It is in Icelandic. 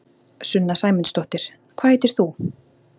Sunna Sæmundsdóttir: Hvað heitir þú?